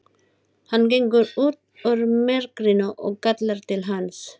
Hann gengur út úr myrkrinu og kallar til hans.